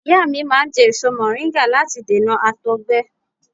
Ìyá mi máa ń jẹ́ èso mọ̀ríńgà láti dènà àtọ̀gbẹ